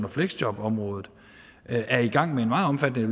og fleksjobområdet er i gang med en meget omfattende